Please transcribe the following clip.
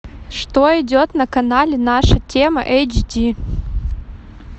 что идет на канале наша тема эйч ди